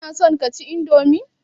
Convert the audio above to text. Kana son kaci indomi?